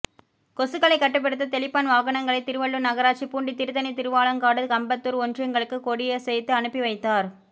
கொசுக்களை கட்டுப்படுத்த தெளிப்பான் வாகனங்களை திருவள்ளூர் நகராட்சி பூண்டி திருத்தணி திருவாலங்காடு கடம்பத்தூர் ஒன்றியங்களுக்கு கொடியசைத்து அனுப்பி வைத்தார்